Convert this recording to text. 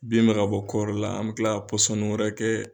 Bin bɛ ka bɔ kɔɔri la an bɛ tila ka pɔsɔni wɛrɛ kɛ